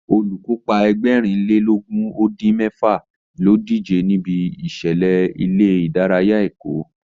Olùkópa Ẹgbẹ̀rin lé lógún ó dín mẹ́fà ní ó díje níbi ìṣẹ̀lẹ̀ ilé ìdárayá Èkó